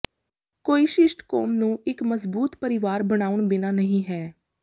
ਕੋਈ ਸ਼ਿਸ਼ਟ ਕੌਮ ਨੂੰ ਇੱਕ ਮਜ਼ਬੂਤ ਪਰਿਵਾਰ ਬਣਾਉਣ ਬਿਨਾ ਨਹੀ ਹੈ